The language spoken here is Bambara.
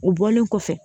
U bɔlen kɔfɛ